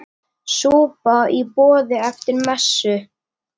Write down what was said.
Súpa í boði eftir messu.